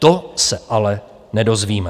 To se ale nedozvíme.